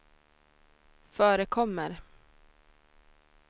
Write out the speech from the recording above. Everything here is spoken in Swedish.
förekommer